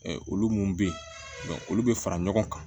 Olu mun be yen olu be fara ɲɔgɔn kan